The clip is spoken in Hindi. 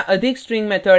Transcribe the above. यहाँ अधिक स्ट्रिंग मेथड है और